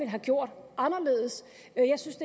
have gjort anderledes jeg synes